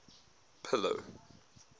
pillow